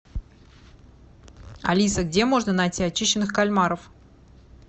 алиса где можно найти очищенных кальмаров